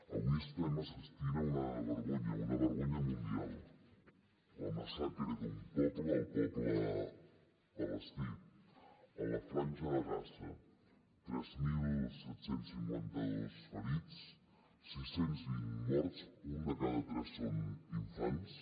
avui estem assistint a una vergonya una vergonya mundial la massacre d’un poble el poble palestí a la franja de gaza tres mil set cents i cinquanta dos ferits sis cents i vint morts un de cada tres són infants